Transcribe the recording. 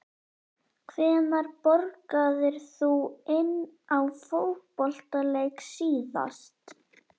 Hvenær borgaðir þú inn á fótboltaleik síðast?